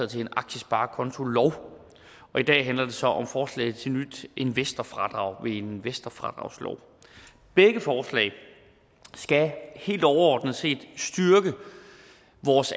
til en aktiesparekontolov og i dag handler det så om forslag til nyt investorfradrag ved en investorfradragslov begge forslag skal helt overordnet set styrke